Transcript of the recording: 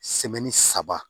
saba